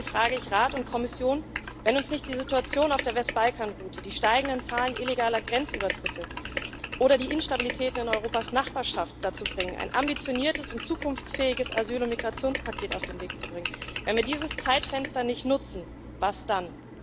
Hier frage ich Rat und Kommission Wenn uns nicht die Situation auf der Westbalkanroute, die steigenden Zahlen illegaler Grenzübertritte oder die Instabilitäten in Europas Nachbarschaft dazu bringen, ein ambitioniertes und zukunftsfähiges Asyl und Migrationspaket auf den Weg zu bringen, wenn wir dieses Zeitfenster nicht nutzen, was dann?